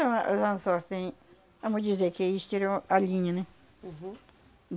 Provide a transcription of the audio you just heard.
Ah mas, os anzóis, têm, vamos dizer que eles tiram a linha, né? Uhum.